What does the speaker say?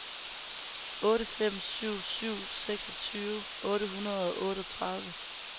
otte fem syv syv seksogtyve otte hundrede og otteogtredive